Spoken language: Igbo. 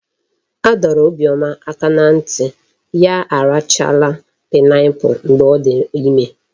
A dọrọ Obioma aka na nti ya arachala pineapple mgbe odi ime